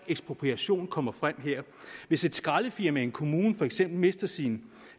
ekspropriation kommer frem her hvis et skraldefirma i en kommune for eksempel mister sin